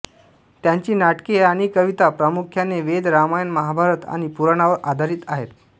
त्यांची नाटके आणि कविता प्रामुख्याने वेद रामायण महाभारत आणि पुराणांवर आधारित आहेत